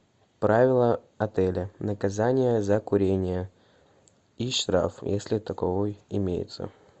правила отеля наказание за курение и штраф если таковой имеется